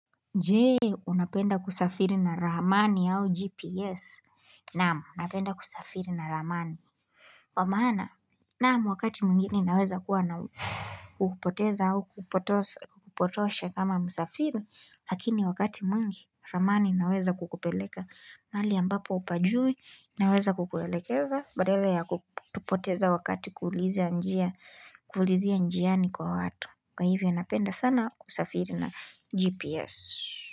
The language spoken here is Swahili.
Jee, unapenda kusafiri na ramani au GPS. Naam, napenda kusafiri na ramani. Kwa maana, naam, wakati mwingine naweza kuwa na kukupoteza au kukupotosha kama msafiri, lakini wakati mwingi, ramani inaweza kukupeleka. Mahali ambapo hupajui, inaweza kukuelekeza, badala ya kupoteza wakati kuulizia njiani kwa watu. Kwa hivyo napenda sana kusafiri na GPS.